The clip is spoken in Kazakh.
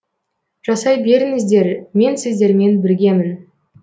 жасай беріңіздер мен сіздермен біргемін